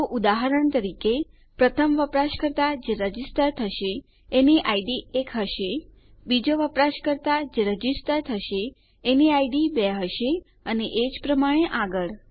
તો ઉદાહરણ તરીકે પ્રથમ વપરાશકર્તા જે રજીસ્ટર થશે કરશે એની ઇડ એક હશે બીજો વપરાશકર્તા જે રજીસ્ટર થશે એની ઇડ બે હશે અને એજ પ્રમાણે આગળ